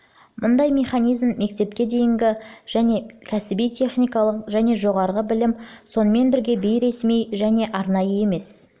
мұндай механизм мектепке дейінгі мектеп және кәсіби техникалық және жоғары білім сонымен бірге бейресми және арнайы емес